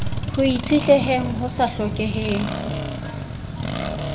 ho itshetleheng ho sa hlokeheng